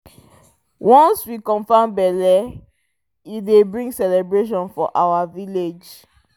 once we confirm belle e dey bring celebration for our village